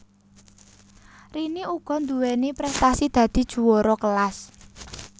Rini uga nduweni prestasi dadi juwara kelas